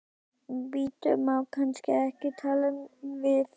Bíddu, má kannski ekki tala við þig?